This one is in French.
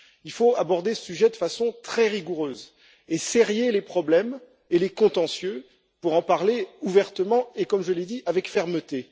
Il faut aborder ce sujet de façon très rigoureuse et sérier les problèmes et les contentieux pour en parler ouvertement et comme je l'ai dit avec fermeté.